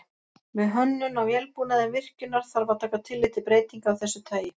Við hönnun á vélbúnaði virkjunar þarf að taka tillit til breytinga af þessu tagi.